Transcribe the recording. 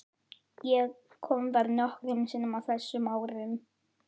Ég kom þar nokkrum sinnum á þessum árum.